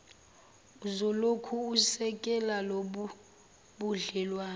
uzolokhu esekele lobubudlelwano